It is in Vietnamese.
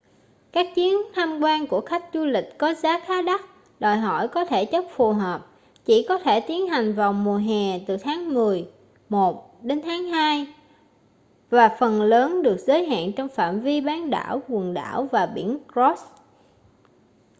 các chuyến tham quan của khách du lịch có giá khá đắt đòi hỏi có thể chất phù hợp chỉ có thể tiến hành vào mùa hè từ tháng mười một đến tháng hai và phần lớn được giới hạn trong phạm vi bán đảo quần đảo và biển ross